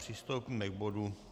Přistoupíme k bodu